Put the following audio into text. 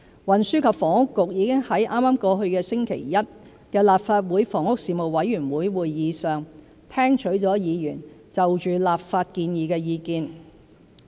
運輸及房屋局已在剛過去星期一的立法會房屋事務委員會會議上，聽取了議員對立法建議的意見。